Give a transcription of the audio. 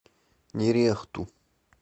нерехту